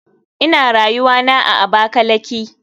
Ina rayuwana a abakalaki.